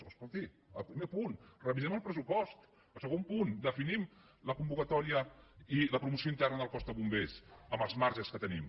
oh escolti al primer punt revisem el pressupost al segon punt definim la convocatòria i la promoció interna del cos de bombers amb els marges que tenim